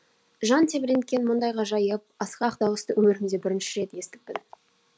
жан тебіренткен мұндай ғажайып асқақ дауысты өмірімде бірінші рет естіппін